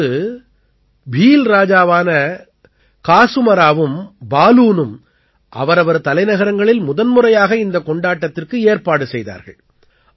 அப்போது பீல் ராஜாவான காஸூமராவும் பாலூனும் அவரவர் தலைநகரங்களில் முதன்முறையாக இந்தக் கொண்டாட்டத்திற்கு ஏற்பாடு செய்தார்கள்